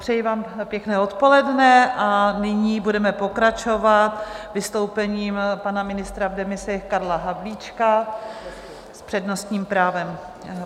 přeji vám pěkné odpoledne a nyní budeme pokračovat vystoupením pana ministra v demisi Karla Havlíčka s přednostním právem.